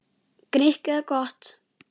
Grikk eða gott?